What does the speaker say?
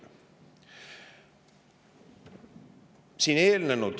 Ja on ka rida muid küsimusi.